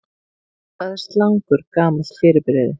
Hvað er slangur gamalt fyrirbrigði?